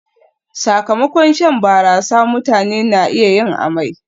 Sakamakon shan barasa, mutane na iya yin amai